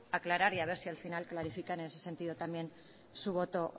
aclarar y haber si al final clarifican en ese sentido también su voto